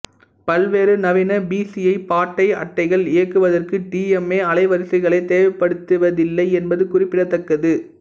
பல்வேறு நவீன பிசிஐ பாட்டை அட்டைகள் இயக்குவதற்கு டிஎம்ஏ அலைவரிசைகளை தேவைப்படுவதில்லை என்பது குறிப்பிடத்தக்கது